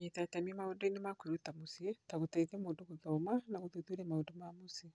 Kũnyita itemi maũndũ-inĩ ma kwĩruta mũciĩ, ta gũteithia mũndũ gũthoma na gũthuthuria maũndũ ma mũciĩ.